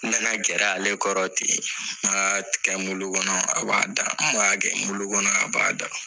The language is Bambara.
N nana gɛra ale kɔrɔ ten n b'a tigɛ muli kɔnɔ a b'a da n b'a kɛ muli kɔnɔ a b'a da